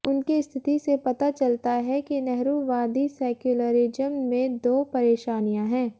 उनकी स्थिति से पता चलता है कि नेहरूवादी सेक्युलरिज़्म में दो परेशानियाँ हैं